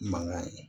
Mankan ye